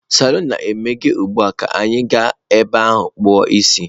Salon na-emeghe ugbu a, ka anyị gaa ebe a kpu o isi.